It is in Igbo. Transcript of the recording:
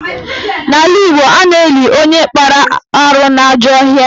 N'ala Igbo, a na-eli onye kpara arụ n'ajọ ọhịa